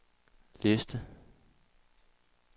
liste